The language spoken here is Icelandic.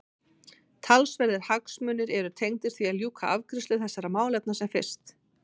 Talsverðir hagsmunir eru tengdir því að ljúka afgreiðslu þessara málefna sem fyrst.